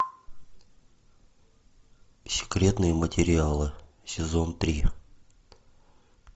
секретные материалы сезон три